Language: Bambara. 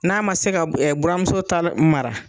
N'a man se ka buran muso ta mara